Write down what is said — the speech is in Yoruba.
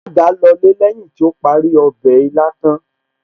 Alága lọlé lẹ́yìn tí ó parí ọbẹ̀ ilá tán